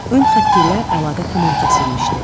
Ön xətt ilə əlaqə tamam kəsilmişdi.